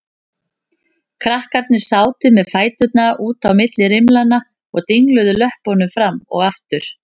Krakkarnir sátu með fæturna út á milli rimlanna og dingluðu löppunum fram og aftur.